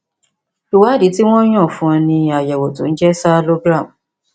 ìwádìí tí wọn yàn fún ọ ni àyẹwò tó ń jẹ sialogram